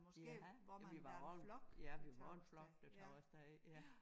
Ja men vi var jo også ja vi var jo en flok der tog af sted ja